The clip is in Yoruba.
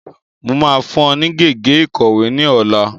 Máa fún ọ ní gègé ìkọ̀wé ní ọ̀la.